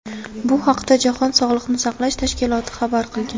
Bu haqda jahon sog‘liqni saqlash tashkiloti xabar qilgan .